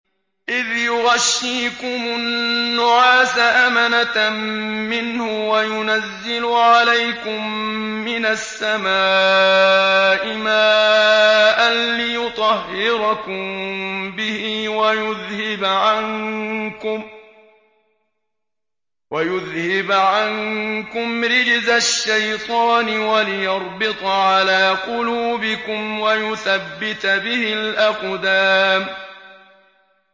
إِذْ يُغَشِّيكُمُ النُّعَاسَ أَمَنَةً مِّنْهُ وَيُنَزِّلُ عَلَيْكُم مِّنَ السَّمَاءِ مَاءً لِّيُطَهِّرَكُم بِهِ وَيُذْهِبَ عَنكُمْ رِجْزَ الشَّيْطَانِ وَلِيَرْبِطَ عَلَىٰ قُلُوبِكُمْ وَيُثَبِّتَ بِهِ الْأَقْدَامَ